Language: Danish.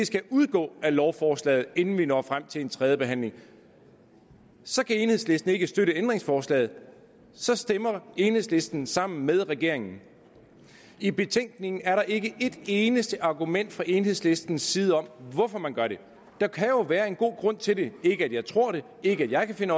skal udgå af lovforslaget inden vi når frem til en tredje behandling så kan enhedslisten ikke støtte ændringsforslaget og så stemmer enhedslisten sammen med regeringen i betænkningen er der ikke et eneste argument fra enhedslistens side om hvorfor man gør det der kan jo være en god grund til det ikke at jeg tror det ikke at jeg kan